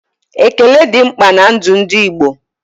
Ékélé dị mkpa ná ndụ ndị Igbo